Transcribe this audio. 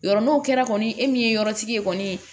Yɔrɔ n'o kɛra kɔni e min ye yɔrɔ tigi ye kɔni